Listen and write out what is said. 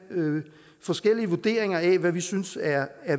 forskellige vurderinger af hvad vi synes er